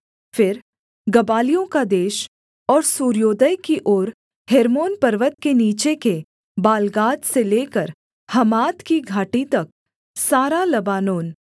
फिर गबालियों का देश और सूर्योदय की ओर हेर्मोन पर्वत के नीचे के बालगाद से लेकर हमात की घाटी तक सारा लबानोन